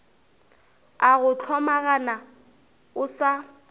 a go hlomagana o sa